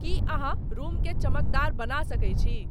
की अहाँरूम के चमकदार बना सके छी